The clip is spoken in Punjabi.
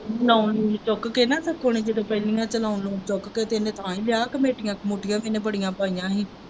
loan ਲੂਨ ਚੁੱਕ ਕੇ ਨਾ ਸੱਤੇ ਨੇ ਜਦੋਂ loan ਲੂਨ ਚੁੱਕ ਕੇ ਤੇ ਇਹਨੇ ਕਰ ਹੀ ਲਿਆ ਕਮੇਟੀ ਕਮੁਟੀਆਂ ਵੀ ਇਹਨੇ ਬੜੀਆਂ ਪਾਇਆਂ ਹੀ।